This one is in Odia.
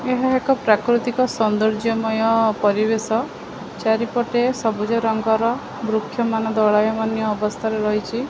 ଏହା ଏକ ପ୍ରାକୃତିକ ସୌନ୍ଦର୍ଯ୍ୟମୟ ପରିବେଶ ଚାରିପଟେ ସବୁଜରଙ୍ଗର ବୃକ୍ଷମାନ ଦୋଳାୟମାନ୍ୟ ଅବସ୍ଥାରେ ରହିଛି ।